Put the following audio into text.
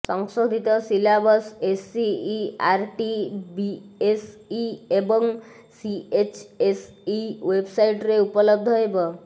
ସଂଶୋଧିତ syllabus SCERT BSE ଏବଂ CHSE ୱେବସାଇଟରେ ଉପଲବ୍ଧ ହେବ